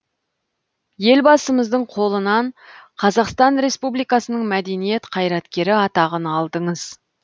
елбасымыздың қолынан қазақстан республикасының мәдениет қайраткері атағын алдыңыз